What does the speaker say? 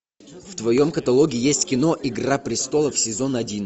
в твоем каталоге есть кино игра престолов сезон один